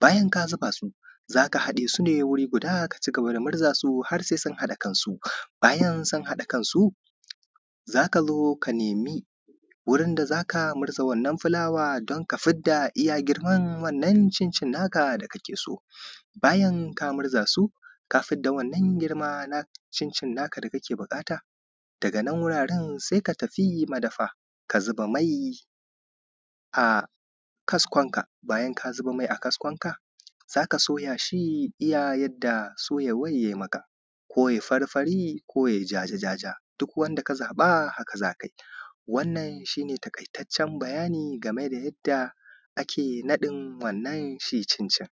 bayan ka zuba su za a haɗe su ne wuri guda ka cigaba da murzaa su har sai sun haɗa kansu, bayan sun haɗa kansu za ka zo ka nemi wurin da za ka murza wanna fulaawa don ka fidda iya girman wannan girman cincin naa ka da kake so. Bayan kaa murza su ka fidda wannan girma na cincin naa ka da kake buƙata daga nan wuraren sai ka tafi madafa ka zuba mai a kaskonka, bayan ka zuba mai a kaskon ka za ka soya shi iya yadda soyawan yayi maka ko yayi farfari ko yayi jaja, duk wanda ka zaɓa haka za ka yi wannan shi ne taƙaitaccen bayani game da yadda ake naɗin wannan shi cincin.